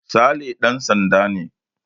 Sale ɗan sanda ne